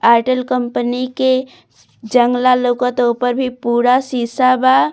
Airtel company के जंगला लोकता ऊपर भी पूरा सीसा बा।